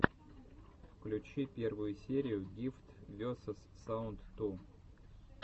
включи первую серию гифтс весос саунд ту